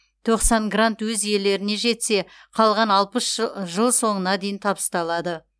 тоқсан грант өз иелеріне жетсе қалған алпыс жы жыл соңына дейін табысталады